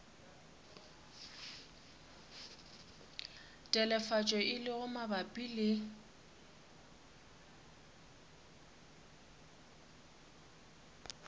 telefatšo e lego mabapi le